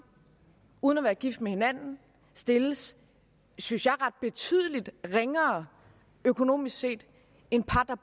uden at være gift med hinanden stilles synes jeg betydelig ringere økonomisk set end par der